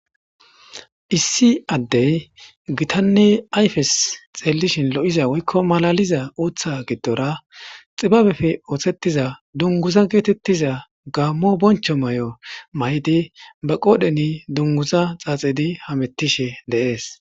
issi addey gitanne ayfes xeellishin lo7iza woykko malaliza uuththa giddora xibabefe oothettiza dunguza geetettiza gaammo boncho may7o may7di ba qoodheni dunguza xaaxidi hamettishe deees